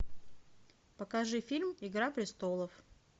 покажи фильм игра престолов